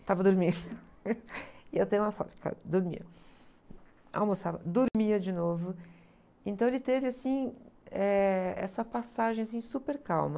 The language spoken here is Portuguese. estava dormindo e eu tenho uma foto, dormia, almoçava, dormia de novo então ele teve assim, eh, essa passagem, assim, super calma.